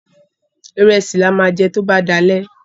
Ìrẹsì ni a máa jẹ tó bá di alẹ́.